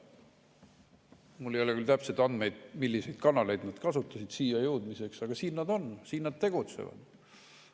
Mul ei ole küll täpseid andmeid, milliseid kanaleid nad kasutasid siia jõudmiseks, aga siin nad on, siin nad tegutsevad.